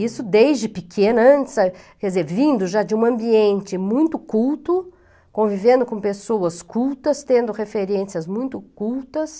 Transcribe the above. Isso desde pequena, antes, quer dizer, vindo já de um ambiente muito culto, convivendo com pessoas cultas, tendo referências muito cultas.